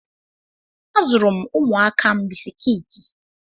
A zụụrụ m ụmụaka m bisikiti.